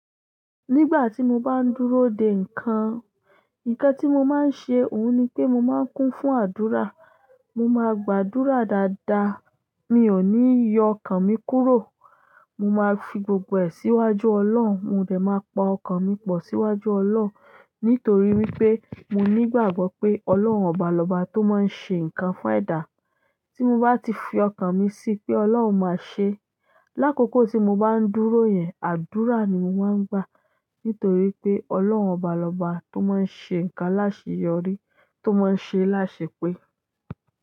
Nígbà tí mo bá ń dúró dè nǹkan, nǹkan tí mo máa ń ṣe òun ni pé mo máa ń kún fún àdúrà. Mo máa gbàdúrà dáadáa, mi ò ní yọ ọkàn mi kúrò. Mo máa fi gbogbo ẹ̀ síwájú Ọlọ́run, mo dẹ̀ máa pa ọkàn mi pọ̀ síwájú Ọlọ́run. Nítorí wípé mo nígbàgbọ́ pé Ọlọ́run ọba lọ́ba tó máa ń ṣe nǹkan fún ẹ̀dá. Tí mo bá ti fi ọkàn mi sí pé Ọlọ́run máa ṣe, lákókò tí mo bá ń dúró yẹn, àdúrà ni mo máa ń gbà. Nítorí pé Ọlọ́run ọba lọ́ba tó máa ń ṣe nǹkan láṣe yọrí, tó máa ń ṣe láṣepé.